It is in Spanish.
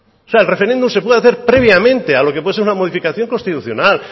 o sea el referéndum se puede hacer previamente a lo que puede ser una modificación constitucional